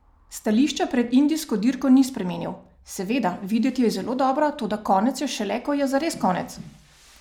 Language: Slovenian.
Stališča pred indijsko dirko ni spremenil: "Seveda, videti je zelo dobro, toda konec je šele, ko je zares konec.